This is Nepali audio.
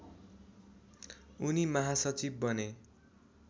उनी महासचिव बने